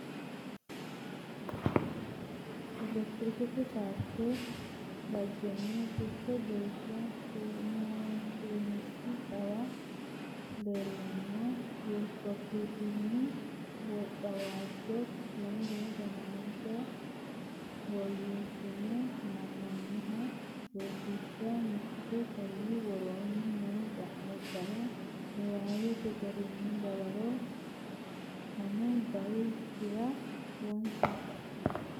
Atletiksete poorte dhaggenni techo geeshsha su’misi xawe leellanno Weekpeediyun- Wocawaajje2015 woyyeessine haa’noonniha Rosiishsh Mite Konni woroonni noo xa’mubbara niwaawete garinni dawaro fanu bay- ichira wonsshe.